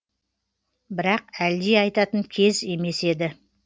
бірақ әлди айтатын кез емес еді